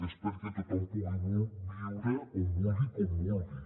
és perquè tothom pugui viure on vulgui i com vulgui